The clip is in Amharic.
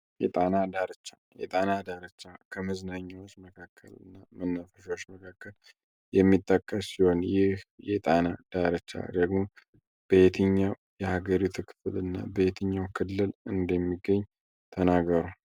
የጣና ዳርቻና ደረጃዎች መካከልና መናፈሻ የሚጠቀሱ የሀገሪቱልና በየትኛው ክልል እንደሚገኝ ተናገር።